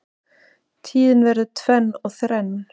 Tíðin verður tvenn og þrenn